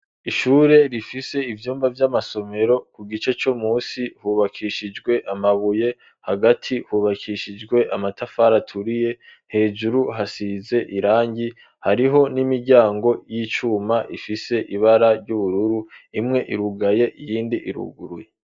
Ishure rifise ivyumba vy'amasomero ku gice co musi hubakishijwe amabuye, hagati hubakishijwe amatafari aturiye, hejuru hasize irangi, hariho n'imiryango y'icuma ifise ibara ry'ubururu, imwe irugaye iyindi iruguruye.